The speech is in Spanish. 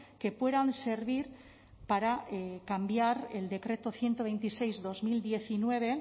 que puedan servir para cambiar el decreto ciento veintiséis barra dos mil diecinueve